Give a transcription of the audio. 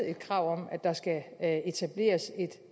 krav om at der skal etableres et